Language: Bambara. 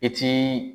I ti